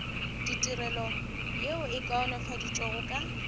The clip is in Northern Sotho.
ditirelo yeo e kaonafaditšwego ka